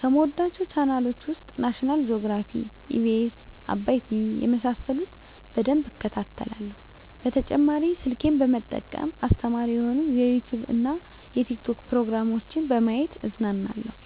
ከምወዳቸው ቻናሎች ውስጥ ናሽናል ጆግራፊ, ኢቢኤስ, አባይ ቲቪ የመሳሰሉት በደንብ እከታተላለሁ። በተጨማሪ ስልኬን በመጠቀም አስተማሪ የሆኑ የዩቲዉብ እና የቲክቶክ ፕሮግራሞችን በማየት እዝናናለሁ።